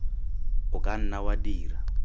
o ka nna wa dira